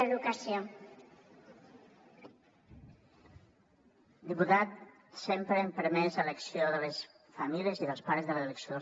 diputat sempre hem permès l’elecció de les famílies i dels pares de l’elecció